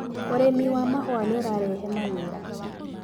ũrĩmi wa mahũa nĩũrarehe mawĩra.